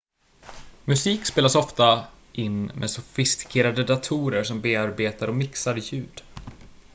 musik spelas ofta in med sofistikerade datorer som bearbetar och mixar ljud